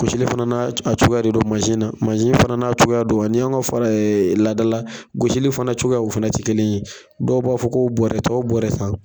Gosili fana n'a c a cogoya de don mansi na, mansi fana n'a cogoya don ŋa n'i yanw ŋa f laada la gosili fana cogoya o fɛnɛ ti kelen ye. Dɔw b'a fɔ k'o bɔrɛ t'ɔ bɔrɛ san.